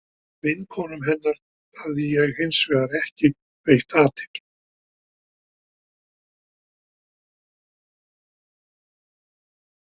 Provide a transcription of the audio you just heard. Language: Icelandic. Vinkonum hennar hafði ég hins vegar ekki veitt athygli.